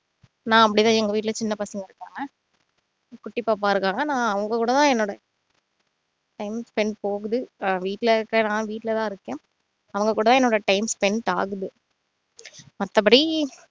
நான் அப்படித்தான் எங்க வீட்டுல சின்ன பசங்க இருக்காங்க குட்டி பாப்பா இருக்காங்க ஆனா அவங்ககூடதான் என்னோட time spend போகுது ஆஹ் வீட்டுல இருக்குற நான் வீட்டுலதான் இருக்கேன் அவங்க கூட என்னோட time spend ஆகுது மத்தபடி